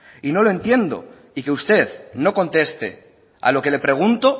y no lo entiendo y que usted no conteste a lo que le pregunto